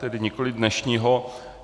Tedy nikoliv dnešního.